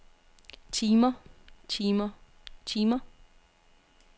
timer timer timer